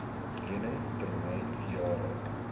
lening termyn jare